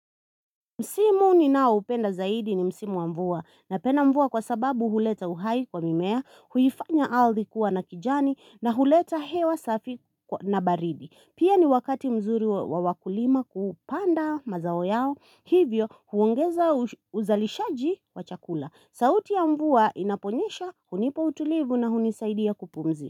Msimu ni naoupenda zaidi ni msimu wa mvua napenda mvua kwa sababu huleta uhai kwa mimea, huifanya ardhi kuwa na kijani na huleta hewa safi na baridi. Pia ni wakati mzuri wa wakulima kupanda mazao yao hivyo huongeza uzalishaji wa chakula. Sauti ya mvua inaponyesha hunipa utulivu na hunisaidia kupumzika.